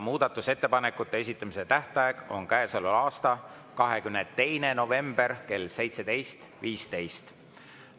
Muudatusettepanekute esitamise tähtaeg on käesoleva aasta 22. november kell 17.15.